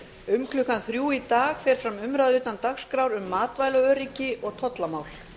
um klukkan þrjú í dag fer fram umræða utan dagskrár um matvælaöryggi og tollamál